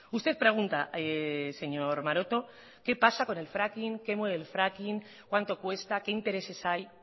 usted pregunta señor maroto qué pasa con el fracking qué mueve el fracking cuánto cuesta qué intereses hay